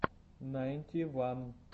найнти ван